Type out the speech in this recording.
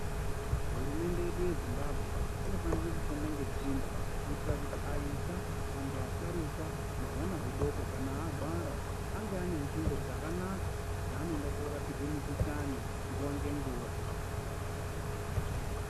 Hurumende yedu yezimbabwe inofana kushanda nesimba kuita kuti aisa antu asharukwa nehwana hudoko kana hwarwara Ange anetsvimbo dzakanaka dzanoenda korapirwa mikuhlani Nguwa ngenguwa.